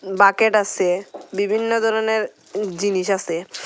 Bucket আসে বিভিন্ন ধরনের জিনিস আসে।